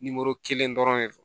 kelen dɔrɔn de don